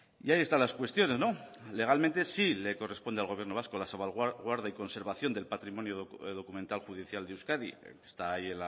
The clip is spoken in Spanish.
y ahí están las cuestiones legalmente sí le corresponde al gobierno vasco la salvaguarda y conservación del patrimonio documental judicial de euskadi está ahí